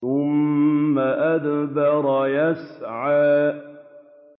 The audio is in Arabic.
ثُمَّ أَدْبَرَ يَسْعَىٰ